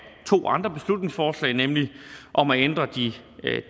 to andre beslutningsforslag nemlig om at ændre de